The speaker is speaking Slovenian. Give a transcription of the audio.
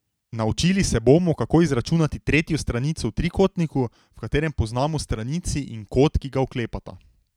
Naučili se bomo, kako izračunati tretjo stranico v trikotniku, v katerem poznamo stranici in kot, ki ga oklepata.